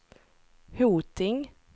Hoting